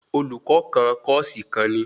Olùkọ kan kòsí kàn ni